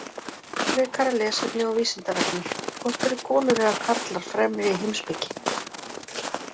Frekara lesefni á Vísindavefnum: Hvort eru konur eða karlar fremri í heimspeki?